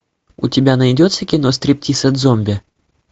у тебя найдется кино стриптиз от зомби